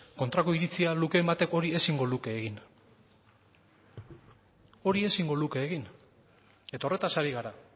kontrako iritzia lukeen batek hori ezingo luke egin hori ezingo luke egin eta horretaz ari gara